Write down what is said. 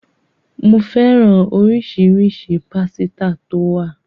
Ko fẹ́ràn oríṣiríṣi pásítà tó wà